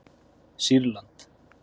Sýrland